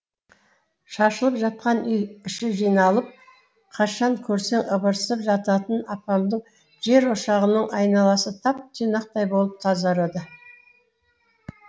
шашылып жатқан үй іші жиналып қашан көрсең ыбырсып жататын апамның жерошағының айналасы тап тұйнақтай болып тазарады